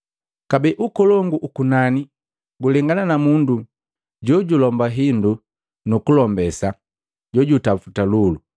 “Kabee, ukolongu uku ukunani gulengana na mundu jojilomba hindu nukulombesa jojutaputa lulu.